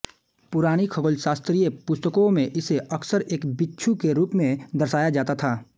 पुरानी खगोलशास्त्रिय पुस्तकों में इसे अक्सर एक बिच्छु के रूप में दर्शाया जाता था